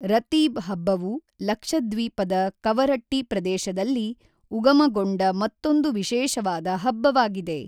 ರತೀಬ್ ಹಬ್ಬವು ಲಕ್ಷದ್ವೀಪದ ಕವರಟ್ಟಿ ಪ್ರದೇಶದಲ್ಲಿ ಉಗಮಗೊಂಡ ಮತ್ತೊಂದು ವಿಶೇಷವಾದ ಹಬ್ಬವಾಗಿದೆ.